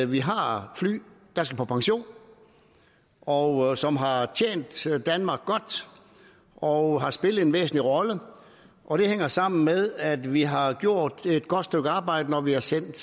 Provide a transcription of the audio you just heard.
vi har fly der skal på pension og som har tjent danmark godt og har spillet en væsentlig rolle og det hænger sammen med at vi har gjort et godt stykke arbejde når vi har sendt